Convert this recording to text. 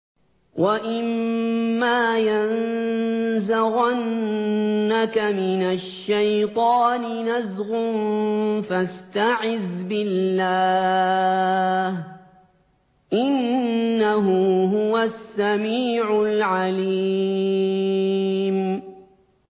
وَإِمَّا يَنزَغَنَّكَ مِنَ الشَّيْطَانِ نَزْغٌ فَاسْتَعِذْ بِاللَّهِ ۖ إِنَّهُ هُوَ السَّمِيعُ الْعَلِيمُ